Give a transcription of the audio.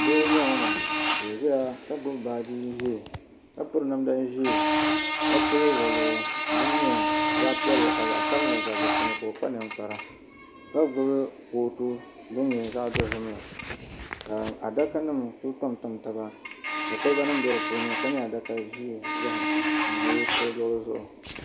Doo n bɔŋɔ maa ka o ziya ka gbubi baaji zɛɛ ka piri namda zɛɛ ka pili woluɣu din yɛ zaɣi piɛlli ka zaɣi sabinli gabi dinni ka o kpa ninkpara ka gbubi kootu dini yɛ zaɣi dozim la ka adaka nima kuli tam tam taba ka koliba nima bɛ di puuni ka yɛ adaka zɛɛn zɛ o luɣili zuɣu.